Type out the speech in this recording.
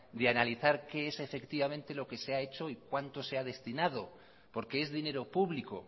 de analizar qué es efectivamente lo que se ha hecho y cuánto se ha destinado porque es dinero público